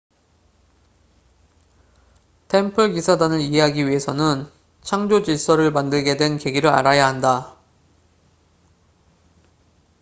템플 기사단을 이해하기 위해서는 창조 질서를 만들게 된 계기를 알아야 한다